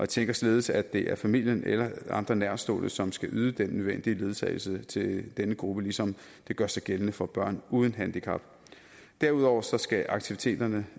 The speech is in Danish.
tænker således at det er familien eller andre nærtstående som skal yde den nødvendige ledsagelse til denne gruppe ligesom det gør sig gældende for børn uden handicap derudover skal aktiviteterne